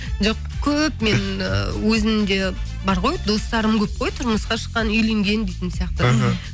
жоқ көп мен өзімде бар ғой достарым көп қой тұрмысқа шыққан үйленген дейтін сияқты іхі